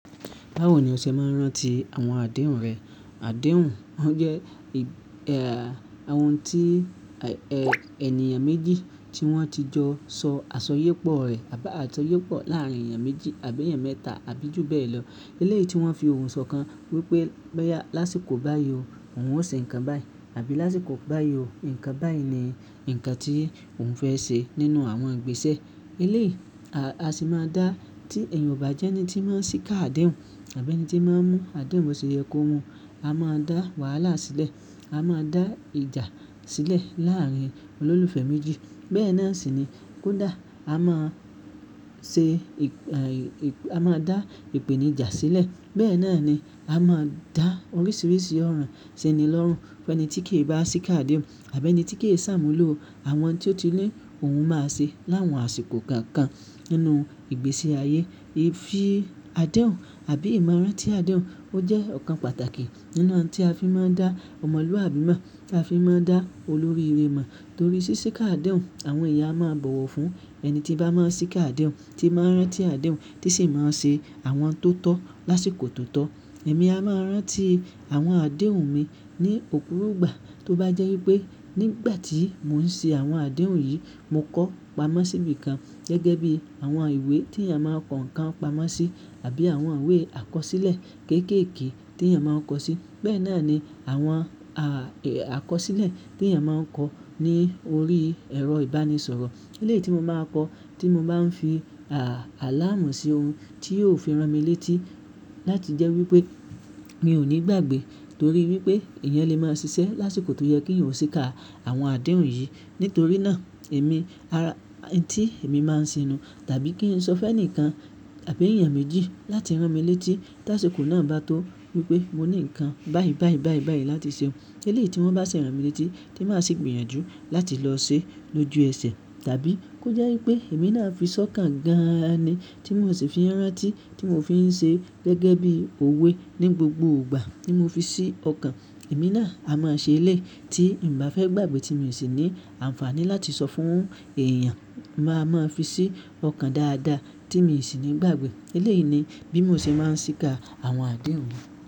Báwo ni o ṣe máa ń rántí àwọn àdéhùn rẹ? Àdéhùn, wọ́n jẹ́ àwọn ohun tí ènìyàn méjì tí wọ́n ti jọ sọ àṣoyépọ̀ rẹ̀ àbá àṣoyépọ̀ láàárín ènìyàn méjì àbí ènìyàn mẹ́ta àbí jù bẹ́ẹ̀ lọ. Eléyìí tí wọ́n fi ohùn sọkàn wípé bá yá lásìkò báyìí o òun ó ṣe nǹkan báyìí àbí lásìkò báyìí o ǹkan báyìí ni ǹkan tí òun fẹ́ ṣe nínú àwọn ìgbésẹ̀. Eléyìí, a sì máa dá tí ènìyàn ò bá jẹ́ ẹni tí máa ń ṣíkà àdéhùn àbí ẹni tí máa ń mú àdéhùn bọ̀ sí yẹ kó mu. A máa dá wàhálà sílẹ̀, a máa dá ìjà sílẹ̀ láàárín olólùfẹ́ méjì. Bẹ́ẹ̀ náà sì ni kódà a máa ṣe ì-- a máa dá ìpèníjà sílẹ̀. Bẹ́ẹ̀ náà ni a máa dá oríṣiríṣi ọ̀ràn síni lọ́rùn. Ẹni tí kì í bá ṣíkà àdéhùn àbí ẹni tí kì í ṣàmúlò àwọn tí ó ti lé òun máa ṣe láwọn àsìkò kankan nínú ìgbésí ayé. Fi àdéhùn àbí ìmọ̀ràn tí àdéhùn, ó jẹ́ ọ̀kan pàtàkì nínú àṣọ tí a fi máa ń dá ọmọlúwàbí mọ̀, tí a fi máa ń dá olórí irẹ mọ̀. Torí sí ṣíkà àdéhùn àwọn ìyá máa ń bọ̀wọ̀ fún ẹni tí bá máa ń ṣíkà àdéhùn, tí máa ń rántí àdéhùn tí sì máa ń ṣe àwọn tó tọ́ lásìkò tó tọ́. Èmi a máa rántí àwọn àdéhùn mi ní òkúrù gbà tó bá jẹ́ wípé nígbà tí mò ń ṣe àwọn àdéhùn yìí mo kọ́ pamọ́ síbi kan gẹ́gẹ́ bí àwọn ìwé tí ènìyàn máa ń kọ nǹkan pamọ́ sí àbí àwọn ìwé àkọsílẹ̀ kéékèèké tí ènìyàn máa ń kọ sí. Bẹ́ẹ̀ náà ni àwọn àkọsílẹ̀ tí ènìyàn máa ń kọ ní orí ẹ̀rọ ìbánisọ̀rọ̀. Eléyìí tí mo máa ń kọ, tí mo máa ń fi àláàmú sí ohun tí yóò fi rán mi létí láti jẹ́ wípé mi ò ní gbàgbé torí wípé èèyàn lè máa ṣiṣẹ́ lásìkò tó yẹ kí èèyàn ó ṣíkà àwọn àdéhùn yìí. Nítorí náà èmi, ara-- tí èmi máa ń sìnú tàbí kí n sọ fún ẹnìkan àbí ènìyàn méjì láti rán mi létí tí àsìkò náà bá tó wípé mo ní nǹkan báyìí báyìí báyìí báyìí láti ṣe. Eléyìí tí wọ́n bá ṣe rán mi létí tí màá sì gbìyànjú láti lọ ṣe lójú ẹsẹ̀. Tàbí kó jẹ́ wípé èmi náà fi sọ́kàn gan-an ni tí mò sì fi rán tí tí mò fi ń ṣe gẹ́gẹ́ bí òwe ní gbogbo ìgbà tí mo fi ṣí ọkàn. Èmi náà a máa ṣe eléyìí tí m bá fẹ́ gbàgbé tí mò sì ní àǹfààní láti sọ fún èèyàn máa máa fi ṣí ọkàn dáadáa tí mò sì ní gbàgbé. Eléyìí ni bí mò ṣe máa ń ṣíkà àwọn àdéhùn mi.